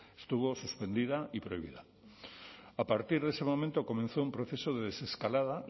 estuvo suspendida y prohibida a partir de ese momento comenzó un proceso desescalada